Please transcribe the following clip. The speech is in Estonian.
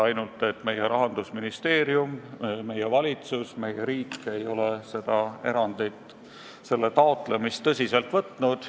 Paraku meie Rahandusministeerium, meie valitsus, meie riik ei ole selle taotlemist tõsiselt võtnud.